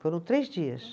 Foram três dias.